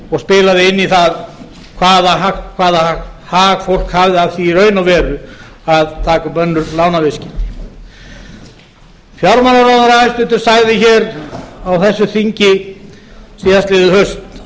og spilaði inn í það hvaða hag fólk hafði af því í raun og veru að taka upp önnur lánaviðskipti hæstvirtur fjármálaráðherra sagði hér á þessu þingi síðastliðið haust